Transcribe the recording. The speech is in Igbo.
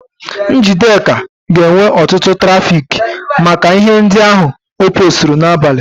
Njideka ga-enwe ọtụtụ trafiki maka ihe ndị ahụ o poosturu n'abalị.